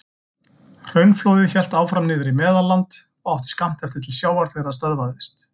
Hraunflóðið hélt áfram niður í Meðalland og átti skammt eftir til sjávar þegar það stöðvaðist.